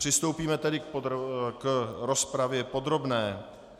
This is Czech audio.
Přistoupíme tedy k rozpravě podrobné.